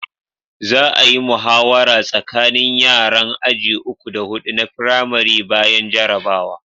Za a'yi muhawara tsakanin yaran aji uku da Hudu na firamari bayan jarabawa.